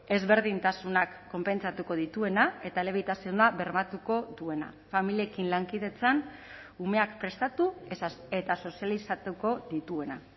ezberdintasunak konpentsatuko dituena eta elebitasuna bermatuko duena familiekin lankidetzan umeak prestatu eta sozializatuko dituena